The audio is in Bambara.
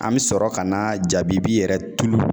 An bɛ sɔrɔ ka na jabibi yɛrɛ tulu